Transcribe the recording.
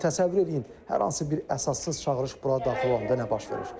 İndi təsəvvür edin, hər hansı bir əsassız çağırış bura daxil olanda nə baş verir?